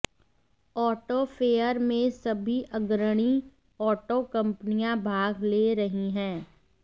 auto fair में सभी अग्रणी ऑटो कंपनियां भाग ले रही हैं